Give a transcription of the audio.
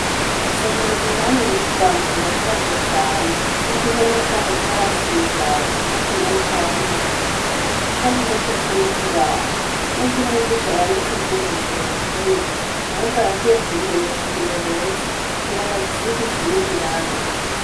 Isomero Minani yigamwo rirashaje cane, n'igihome caho caras’imigaga, ahandi naho carahumaguritse, kitavuze coco n'ikibaho n'ivy' umwigisha yanditse ntibigishobora kuboneka, ahubwo arakwiye kubimenyesha umuyobozi kugira ngo agisigishe irindi rangi.